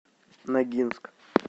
ногинск